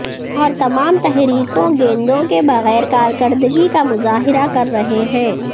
اور تمام تحریکوں گیندوں کے بغیر کارکردگی کا مظاہرہ کر رہے ہیں